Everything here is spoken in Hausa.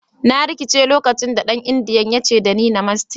"Na rikice lokacin da dan indiyan ya ce da ni "Namaste"."